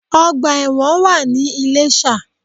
Ọgbà ẹ̀wọ̀n wà ní Iléshà